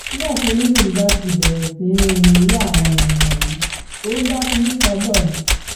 nígbà tí olóṣèlú bá ti bẹ̀rẹ̀ sí í rin irú àwọn irin wọ̀nyí ó ń bá kinní kan bọ̀ ni